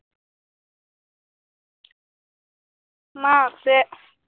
মা আছে